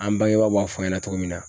An bangebaaw b'a fɔ an ɲɛna cogo min na